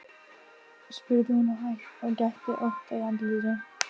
spurði hún og gætti ótta í andlitinu.